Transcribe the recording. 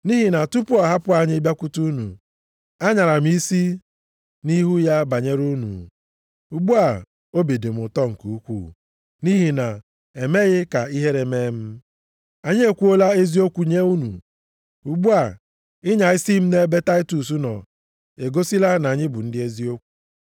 Nʼihi na tupu ọ hapụ anyị bịakwute unu, anyara m isi nʼihu ya banyere unu; ugbu a, obi dị m ụtọ nke ukwuu nʼihi na unu emeghị ka ihere mee m. Anyị ekwuola eziokwu nye unu. Ugbu a, ịnya isi m nʼebe Taịtọs nọ egosila na anyị bụ ndị eziokwu.